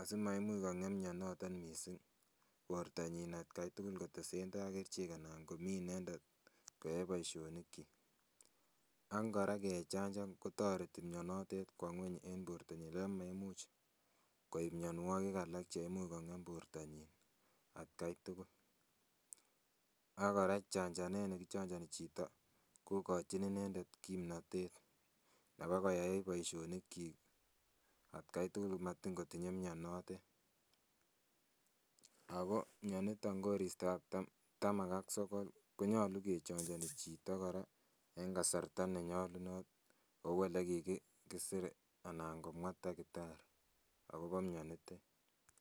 asimaimuch kong'em mionoton missing bortonyin atkai tugul kotesendai kerichek anan komii inendet koyoe boisionik kyik ak kora ngechanjan kotoreti mionotet kwo ng'weny en bortonyin ako maimuch koib mionwogik alak cheimuch kong'em bortonyin atkai tugul ak kora chanjanet nekichonjoni chito kokochin inendet kimnotet bakoyai boisionik kyik atkai tugul matin kotinye mionotet ako mioniton koristab taman ak sokol konyolu kechonjoni chito kora en kasarta nenyolunot kou elekikisir anan komwaa takitari akobo mionitet